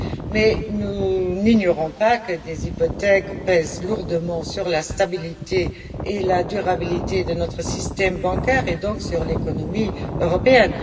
Mais nous n'ignorons pas que des hypothèques pèsent lourdement sur la stabilité et la durabilité de notre système bancaire et, donc, sur l'économie européenne.